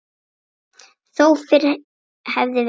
Þó fyrr hefði verið.